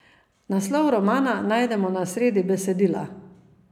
Naslov romana najdemo na sredi besedila.